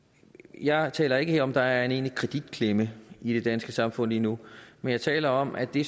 jeg taler ikke her om at der er en egentlig kreditklemme i det danske samfund lige nu men jeg taler om at det